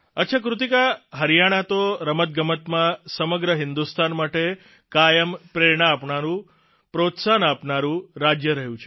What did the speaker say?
અચ્છા કૃતિકા હરિયાણા તો રમતગમતમાં સમગ્ર હિંદુસ્તાન માટે કાયમ પ્રેરણા આપનારૂં પ્રોત્સાહન આપનારૂં રાજય રહ્યું છે